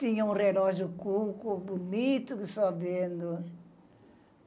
Tinha um relógio cuco, bonito que só vendo.